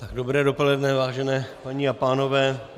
Dobré dopoledne, vážené paní a pánové.